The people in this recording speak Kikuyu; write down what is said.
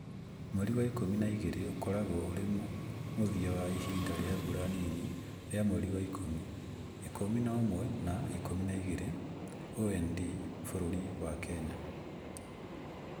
Mweri wa Ikumi na igĩrĩ ũkoragwo ũrĩ mũthia wa ihinda rĩa mbura nini rĩa mweri wa ikumi, ikumi na ũmwe na Ikumi na igĩrĩ (OND)bũrũri wa Kenya.